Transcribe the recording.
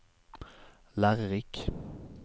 lærerik